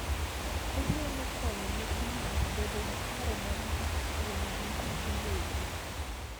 Onyalo konyo nyithindo bedo gi paro matut kuomgi giwegi